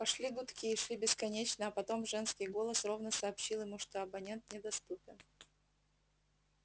пошли гудки и шли бесконечно а потом женский голос ровно сообщил ему что абонент недоступен